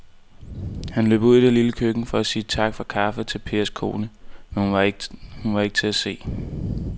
Han løb ud i det lille køkken for at sige tak for kaffe til Pers kone, men hun var ikke til at se.